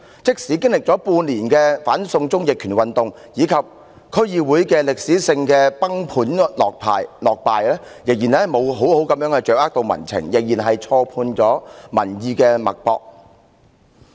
即使經歷了半年的"反送中"逆權運動及在區議會選舉中的歷史性崩盤落敗後，他們仍未有好好掌握民情，仍然錯判民意脈搏。